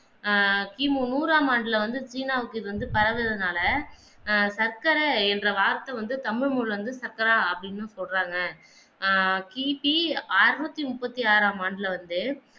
ஆஹ் கி. மு நூறாம் ஆண்டில வந்து சீனாவுக்கு இது வந்து பரவினதுனால ஆஹ் சக்கர என்ற வார்த்த வந்து தமிழ் நூல வந்து சக்கரா என்று அப்படி சொல்றாங்க ஆஹ் கி. பி அனுரூற்று முப்பத்தாறாம் ஆண்டுல வந்து